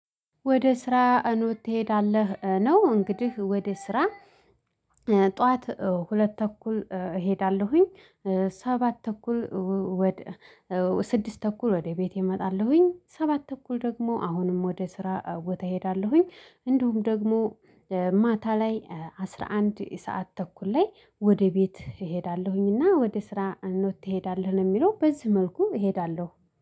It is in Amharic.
ወደ ስራ እኖት ትሄዳለህ ነው እንግዲህ ወደ ስራ ጠዋት ሁለት ተኩል እሄዳለሁኝ። ሰባት ተኩል ስድስት ተኩል ወደ ቤቴ እመጣለሁኝ ሰባት ተኩል ደግሞ አሁንም ወደ ስራ ቦታ እሄዳለሁኝ እንደሁም ደግሞ ማታ ላይ አስራ አንድ ሰዓት ተኩል ላይ ወደ ቤት እሄዳለሁኝ። እና ወደ ስራ እንደሆነ ትሄዳለህ የሚለው በዚህ መልኩ እሄዳለሁ